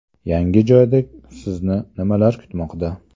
Yangi joyda sizni nimalar kutmoqda?.